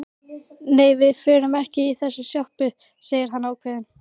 Nei, við förum ekki í þessa sjoppu, sagði hann ákveðinn.